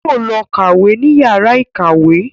Yóò lọ kàwé ní yàrá ìkàwé